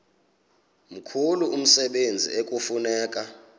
mkhulu umsebenzi ekufuneka